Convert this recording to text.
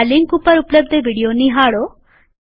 આ લિંક ઉપર ઉપલબ્ધ વિડીયો નિહાળો